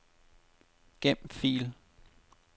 Gem fil.